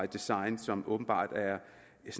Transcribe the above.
design som åbenbart er